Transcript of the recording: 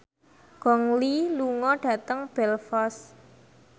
Gong Li lunga dhateng Belfast